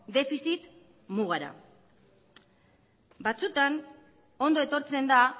defizit mugara batzuetan ondo etortzen da